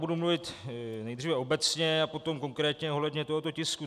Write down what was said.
Budu mluvit nejdříve obecně a potom konkrétně ohledně tohoto tisku.